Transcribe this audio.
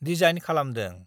Design खालामदों।